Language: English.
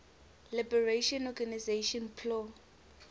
liberation organization plo